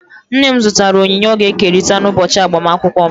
Nne m zụtara onyinye ọ ga-ekerịta n'ụbọchị agbamakwụkwọ m.